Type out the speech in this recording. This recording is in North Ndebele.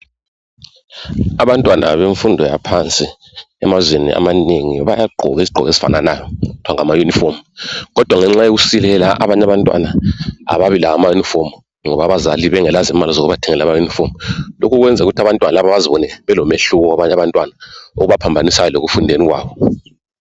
Abantwana bemfundo yaphansi, emazweni amanengi bayagqoka izigqoko ezifananayo, okuthiwa ngamayunifomu, kodwa ngenxa yokusilela , abanye abantwana kababilawo amayunifomu, ngoba abazali bengalazo imali zokubathengela amayunifomu. Lokhu kubenza ukuthi abantwana labo bazibone belomehluko labanye abantwana, okubaphambanisayo kanye lekufundeni kwabo.